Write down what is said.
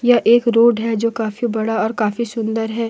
यह एक रोड है जो काफी बड़ा और काफी सुंदर है।